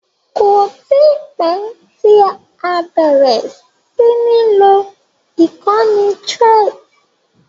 Kò tí pẹ́ tí a bẹ̀rẹ̀ sí ní lo ìkànnì Threads.